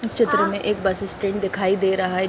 इस चित्र में एक बस स्टैंड दिखायी दे रहा है।